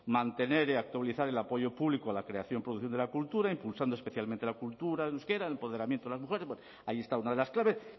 mantener y actualizar el apoyo público a la creación producción de la cultura impulsando especialmente la cultura en euskera el empoderamiento de las mujeres ahí está una de las claves